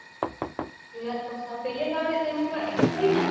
বিৰাত কষ্ট। বেলেগ আৰু তেনেকুৱা একোয়েই নাই?